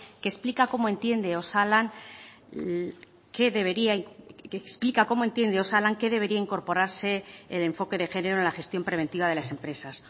que explica cómo entiende osalan qué debería que explica cómo entiende osalan qué debería incorporarse el enfoque de género en la gestión preventiva de las empresas